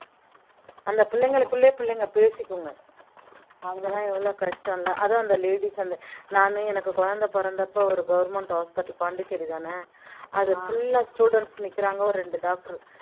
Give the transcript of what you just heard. அந்த பிள்ளைங்களுக்குள்ளேயே பிள்ளைங்க பேசிக்குங்க அதெல்லாம் எவ்வளவு கஷ்டம் இல்ல அதுவும் அந்த ladies அந்த நானு எனக்கு குழந்தை பிறந்தப்ப ஒரு government hospital பாண்டிச்சேரிதானே அது full ஆ students நிக்கிறாங்க ஒரு ரெண்டு doctor